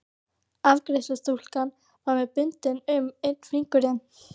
Afgreiðslustúlkan var með bundið um einn fingurinn.